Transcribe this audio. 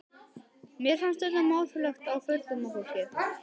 Mér fannst þetta mátulegt á fullorðna fólkið.